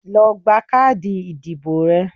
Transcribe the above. lọ gba káàdì ìdìbò ẹ!